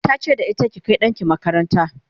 ta ce da ita"ki Kai ɗanki makaranta!"